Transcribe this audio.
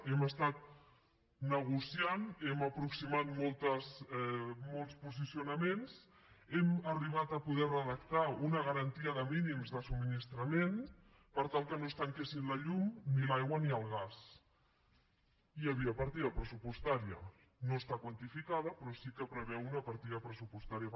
hem estat negociant hem aproximat molts posicionaments hem arribat a poder redactar una garantia de mínims de subministrament per tal que no es tanquessin la llum ni l’aigua ni el gas hi havia partida pressupostària no està quantificada però sí que preveu una partida pressupostària